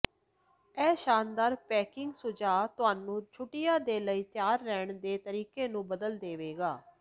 ਇਹ ਸ਼ਾਨਦਾਰ ਪੈਕਿੰਗ ਸੁਝਾਅ ਤੁਹਾਨੂੰ ਛੁੱਟੀਆਂ ਦੇ ਲਈ ਤਿਆਰ ਰਹਿਣ ਦੇ ਤਰੀਕੇ ਨੂੰ ਬਦਲ ਦੇਵੇਗਾ